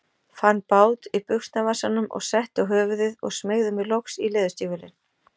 Fann bát í buxnavasanum og setti á höfuðið og smeygði mér loks í leðurstígvélin.